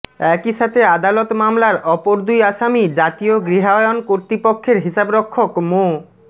একইসাথে আদালত মামলার অপর দুই আসামি জাতীয় গৃহায়ণ কর্তৃপক্ষের হিসাবরক্ষক মো